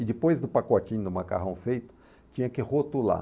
E depois do pacotinho do macarrão feito, tinha que rotular.